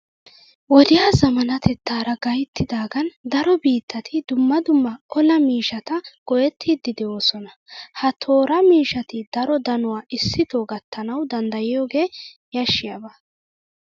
Wodiya zammaanatettaara gayttidaagan daro biittati dumma dumma olaa miishshata go"ettiiddi de'oosona. Ha tooraa miishshati daro danuwa issitoo gattanawu danddayiyogee yashshiyaba.